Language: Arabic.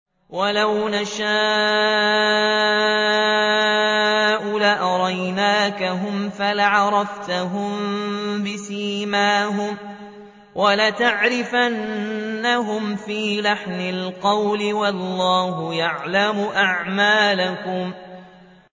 وَلَوْ نَشَاءُ لَأَرَيْنَاكَهُمْ فَلَعَرَفْتَهُم بِسِيمَاهُمْ ۚ وَلَتَعْرِفَنَّهُمْ فِي لَحْنِ الْقَوْلِ ۚ وَاللَّهُ يَعْلَمُ أَعْمَالَكُمْ